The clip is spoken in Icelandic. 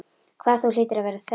Hvað þú hlýtur að vera þreytt.